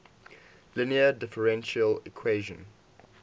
linear differential equation